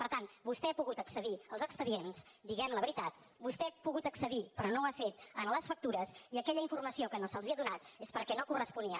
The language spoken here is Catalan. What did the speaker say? per tant vostè ha pogut accedir als expedients diguem la veritat vostè ha pogut accedir però no ho ha fet a les factures i aquella informació que no se’ls ha donat és perquè no corresponia